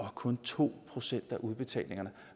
at kun to procent af udbetalingerne